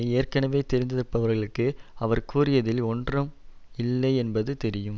ஏற்கனவே தெரிந்திருப்பவர்களுக்கு அவர் கூறியதில் ஒன்றாம் இல்லை என்பது தெரியும்